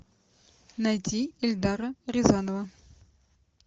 найди эльдара рязанова